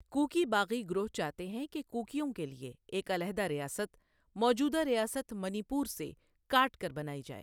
Cookie باغی گروہ چاہتے ہیں کہ کوکیوں کے لیے ایک علیحدہ ریاست، موجودہ ریاست منی پور سے کاٹ کر بنائی جائے۔